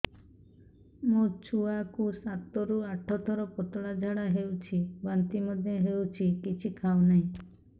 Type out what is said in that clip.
ମୋ ଛୁଆ କୁ ସାତ ରୁ ଆଠ ଥର ପତଳା ଝାଡା ହେଉଛି ବାନ୍ତି ମଧ୍ୟ୍ୟ ହେଉଛି କିଛି ଖାଉ ନାହିଁ